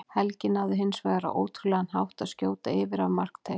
Helgi náði hins vegar á ótrúlegan hátt að skjóta yfir af markteig.